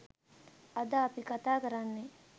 අද අපි කතා කරන්නේ